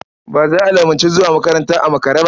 Ba za a lamunci zuwa makaranta a makare ba.